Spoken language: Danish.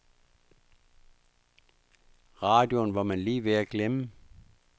Radioen var man lige ved at glemme.